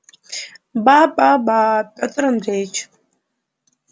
ба ба ба пётр андреич